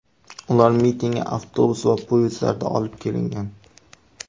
Ular mitingga avtobus va poyezdlarda olib kelingan.